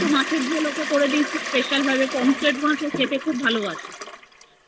একটু মাছের ঝোল করে দিয়েছি ওকে special মাছ খেতে খুব ভালোবাসে